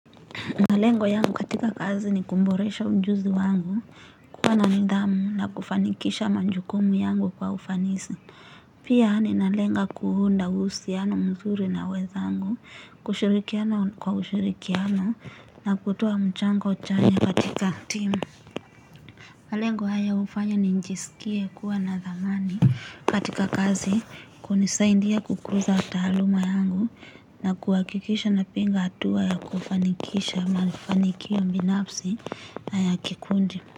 Malengo yangu katika kazi ni kumboresha ujuzi wangu, kuwa na nidhamu na kufanikisha manjukumu yangu kwa ufanisi. Pia ninalenga kuunda usiano mzuri na wenzangu, kushirikiana kwa ushirikiano na kutoa mchango chanya katika team. Malengo haya ufanya ninjisikie kuwa na dhamani katika kazi kunisaindia kukuza taaluma yangu na kuwakikisha napiga atua ya kufanikisha mafanikio mbinafsi na ya kikundi.